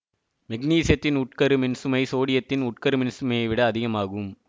மெக்னீசியத்தின் உட்கரு மின்சுமை சோடியத்தின் உட்கரு மின்சுமையை விட அதிகமாகும்